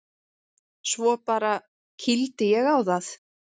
Svo bara. kýldi ég á það.